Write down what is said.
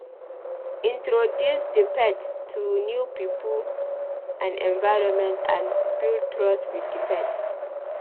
Introduce di pet to new pipo and environment and build trust with di pet